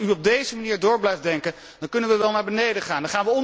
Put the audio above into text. Als u op deze manier door blijft denken, dan kunnen wij wel naar beneden gaan.